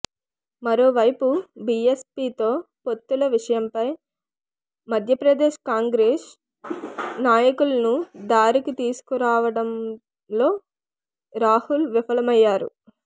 మరోవైపు బిఎస్పితో పొత్తుల విషయంపై మధ్యప్రదేశ్ కాంగ్రెస్ నాయకులను దారికి తీసుకురావటంలో రాహుల్ విఫలమయ్యారు